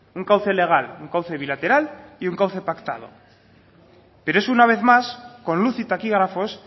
un cauce legal un cauce bilateral y un cauce pactado pero eso una vez más con luz y taquígrafos